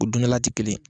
O dundala tɛ kelen ye